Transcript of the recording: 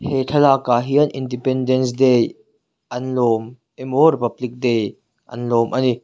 he thlalak ah hian independence day an lawm e maw republic day an lawm a ni.